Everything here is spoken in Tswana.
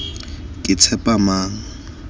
ketshepamang